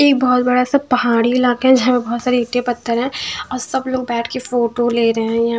एक बहुत बड़ा सा पहाड़ी इलाका है जहाँ पे बहुत सारे ईंटें पत्थर हैं और सब लोग बैठ के फोटो ले रहे हैं यहाँ।